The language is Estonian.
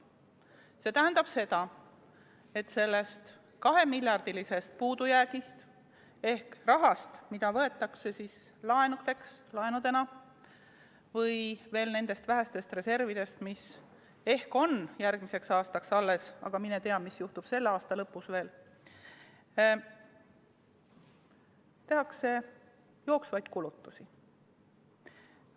See tähendab, et sellest 2‑miljardilisest puudujäägist ehk rahast, mida võetakse laenudena või veel nendest vähestest reservidest, mis ehk on järgmiseks aastaks alles – aga mine tea, mis juhtub selle aasta lõpus –, tehakse jooksvaid kulutusi.